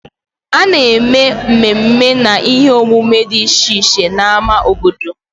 A na-eme mmemme na ihe omume dị iche iche na ámá obodo.